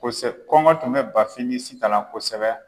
Kosɛ kɔngɔ tun bɛ BAFIN ni SITAN na kosɛbɛ.